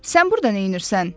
Sən burda neynirsən?